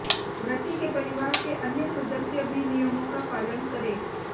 व्रती के परिवार के अन्य सदस्य भी नियमों का पालन करें